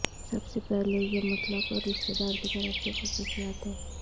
سب سے پہلے یہ مطلق اور رشتہ دار کی طرف سے خصوصیات ہے